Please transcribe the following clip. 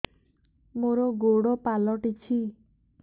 ମୋର ଗୋଡ଼ ପାଲଟିଛି